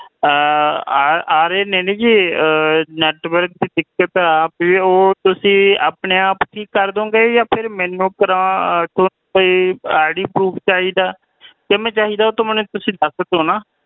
ਆ ਰਹੇ ਨੇ ਨੇ network ਜੀ ਆ ਬੀ ਉਹ ਤੁਸੀਂ ਆਪਣੇ ਆਪ ਠੀਕ ਕਾਰਾ ਦਾਓਂਗੇ ਆ ਤੁਸੀਂ ਮੈਨੂੰ IDProof ਚਾਹੀਦੇ ਤੁਸੀਂ ਮੈਨੂੰ ਦੱਸ ਦੋ ਨਾ